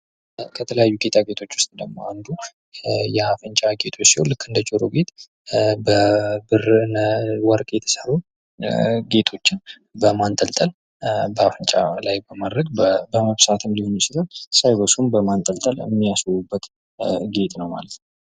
ከተለያዩ ጌጣጌጦች ውስጥ ደግሞ አንዱ የአፍንጫ ጌጥ ሲሆን ልክ እንደ ጀሮ ጌጥ በብር በወረቅ የተሰሩ ጌጦች በማንጠልጠል በአፍንጫ ላይ በማድረግ በመብሳትም ሊሆን ይችላል ሳይበሱም በማንጠልጠል የሚያስውቡበት ጌጥ ነው ማለት ነው።